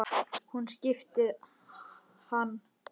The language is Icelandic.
Hún skipti hann engu máli.